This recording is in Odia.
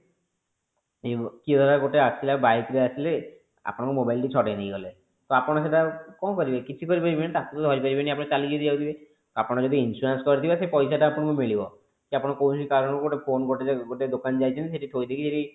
କିଏ ଧର ଗୋଟେ ଆସିଲା bike ରେ ଆସିଲେ ଆପଣଙ୍କ mobile ଟି କୁ ଛଡେଇ ନେଇଗଲେ ତ ଆପଣ ସେଟା କଣ କରିବେ କିଛି ତ କରରିପାରିବେନି ତାକୁ ତ ଧରିପାରିବେନି ଆପଣ ଚାଲିକି ଯାଉଥିବେ ଆପଣ ଯଦି insurance କରିଥିବେ ସେ ପଇସା ଟା ଆପଣଙ୍କୁ ମିଳିବ ଯଦି କୌଣସି କାରଣରୁ ଗୋଟେ ଫୋନ ଗୋଟେ ଯଦି ଗୋଟେ ଦୋକାନ ଯାଇଛନ୍ତି ଶେଠୀ ଥୋଇଦେଇକି ସେଠି